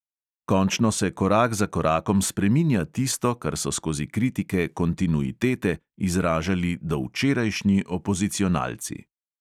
Končno se korak za korakom spreminja tisto, kar so skozi kritike "kontinuitete" izražali dovčerajšnji opozicionalci.